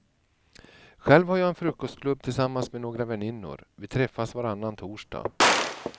Själv har jag en frukostklubb tillsammans med några väninnor, vi träffas varannan torsdag.